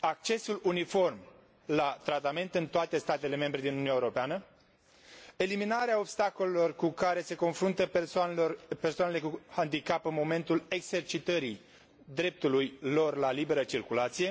accesul uniform la tratament în toate statele membre din Uniunea Europeană, eliminarea obstacolelor cu care se confruntă persoanele cu handicap în momentul exercitării dreptului lor la liberă circulație,